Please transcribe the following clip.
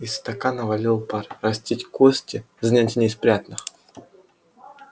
из стакана валил пар растить кости занятие не из приятных